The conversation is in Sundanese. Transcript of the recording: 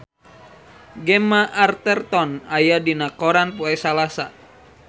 Gemma Arterton aya dina koran poe Salasa